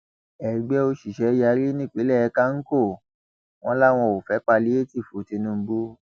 ẹgbẹ òṣìṣẹ yarí nípínlẹ kánkó wọn làwọn ò fẹ páìlétììfù tinubu